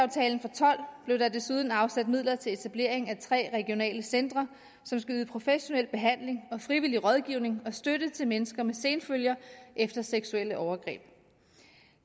tolv blev der desuden afsat midler til etablering af tre regionale centre som skal yde professionel behandling og frivillig rådgivning og støtte til mennesker med senfølger efter seksuelle overgreb